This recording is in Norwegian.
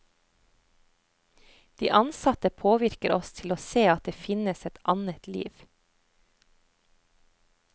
De ansatte påvirker oss til å se at det finnes et annet liv.